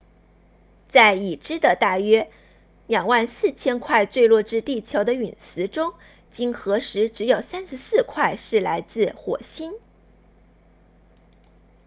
在已知的大约 24,000 块坠落至地球的陨石中经核实只有34块是来自火星